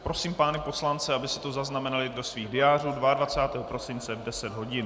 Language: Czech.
Prosím pány poslance, aby si to zaznamenali do svých diářů - 22. prosince v 10 hodin.